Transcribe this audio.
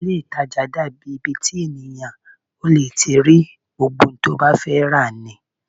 Ilé-ìtàjà dàbí ibi the èèyàn lè ti rí gbogbo ohun tó bá fẹ́ rà ni